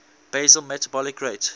basal metabolic rate